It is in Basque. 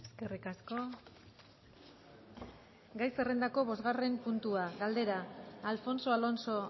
eskerrik asko san josé andrea gai zerrendako bosgarren puntua galdera alfonso alonso